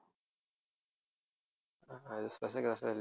இது special class லாம்